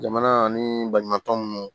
Jamana ani baɲumankɛtɔn minnu